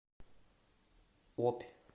обь